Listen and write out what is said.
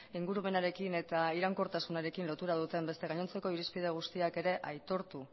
ingurumenarekin eta iraunkortasunarekin lotura duten beste gainontzeko irizpide guztiak ere aitortu